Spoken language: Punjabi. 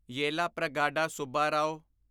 ਯੇਲਾਪ੍ਰਗਾਡਾ ਸੁੱਬਾਰਾਓ